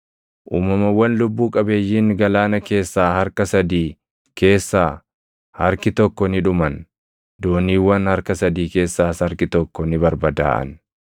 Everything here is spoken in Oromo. uumamawwan lubbuu qabeeyyiin galaana keessaa harka sadii keessaa harki tokko ni dhuman; dooniiwwan harka sadii keessaas harki tokko ni barbadaaʼan.